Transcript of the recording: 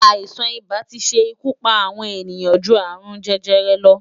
Aisán-ibá ti se ikú pá awòn éniyan jú árún-jèjèrè lò